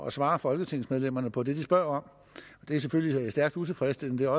at svare folketingsmedlemmerne på det de spørger om det er selvfølgelig stærkt utilfredsstillende og